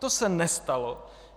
To se nestalo.